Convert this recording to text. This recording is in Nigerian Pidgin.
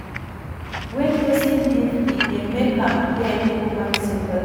When perosn give e dey make am get human sympathy